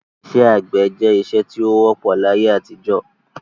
Isẹ́ àgbẹ̀ je isẹ́ ti o wọ́pọ̀ láyé-àtijọ́